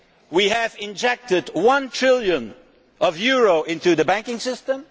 we have injected one trillion euros into the banking system